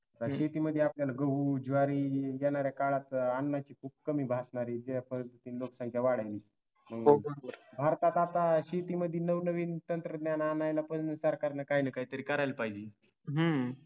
शेतीमध्ये आपल्याला गहू ज्वारी देणाऱ्या काळात अन्नाची कमी भासणारी या पद्धतीने लोकसंख्या वाढावी भारतात आता शेतीमध्ये नवनवीन तंत्रज्ञान आणायला पण सरकारनं काही ना काही तरी करायला पाहिजे